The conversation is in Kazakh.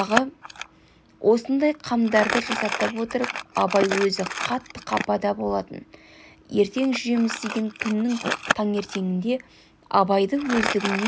осындай қамдарды жасатып отырып абай өзі қатты қапада болатын ертең жүреміз деген күннің таңертеңінде абайды өздігінен